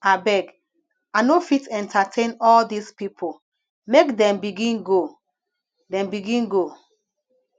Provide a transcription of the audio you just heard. abeg i no fit entertain all dese pipo make dem begin go dem begin go